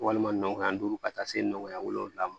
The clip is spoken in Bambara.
Walima nɔgɔya duuru ka taa se nɔgɔya wolonwula ma